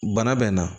Bana bɛ n na